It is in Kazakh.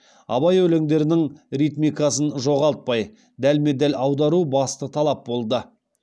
абай өлеңдерінің ритмикасын жоғалтпай дәлме дәл аудару басты талап болды